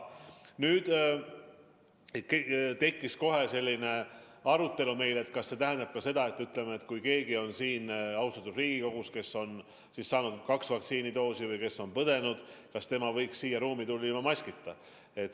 Nüüd tekkis meil kohe selline arutelu, et kas see tähendab ka seda, et kui keegi siin austatud Riigikogus on saanud kaks vaktsiinidoosi või haiguse läbi põdenud, siis kas tema võiks siia ruumi tulla ilma maskita.